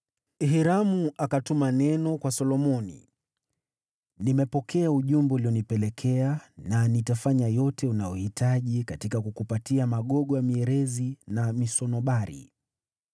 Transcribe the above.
Hiramu akatuma neno kwa Solomoni: “Nimepokea ujumbe ulionipelekea na nitafanya yote unayohitaji katika kukupatia magogo ya mierezi na misunobari.